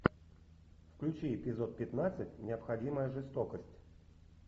включи эпизод пятнадцать необходимая жестокость